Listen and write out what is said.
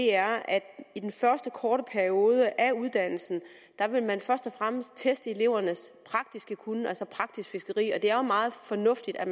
er at i den første korte periode af uddannelsen vil man først og fremmest teste elevernes praktiske kunnen altså praktisk fiskeri og det er jo meget fornuftigt at